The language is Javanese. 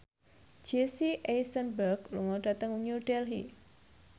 Jesse Eisenberg lunga dhateng New Delhi